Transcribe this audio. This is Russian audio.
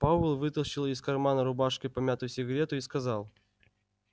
пауэлл вытащил из кармана рубашки помятую сигарету и сказал